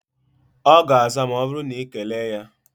Ọ ga-aza ma ọ bụrụ na ị na-ekele ya